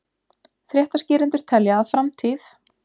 Fréttaskýrendur telja að framtíð